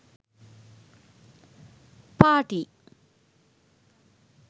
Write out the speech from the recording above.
party